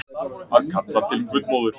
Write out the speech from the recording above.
Að kalla til guðmóður